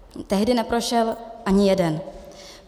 Tehdy neprošel ani jeden.